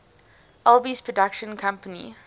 alby's production company